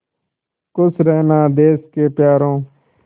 खुश रहना देश के प्यारों